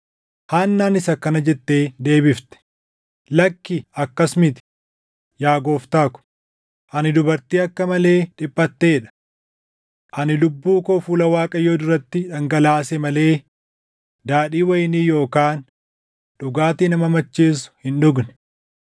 Haannaanis akkana jettee deebifte; “Lakki akkas miti; yaa gooftaa ko, ani dubartii akka malee dhiphatee dha. Ani lubbuu koo fuula Waaqayyoo duratti dhangalaase malee daadhii wayinii yookaan dhugaatii nama macheessu hin dhugne.